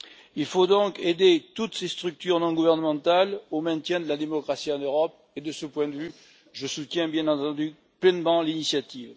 Il faut donc aider toutes ces structures non gouvernementales à préserver la démocratie en Europe et, de ce point de vue, je soutiens bien entendu pleinement l'initiative.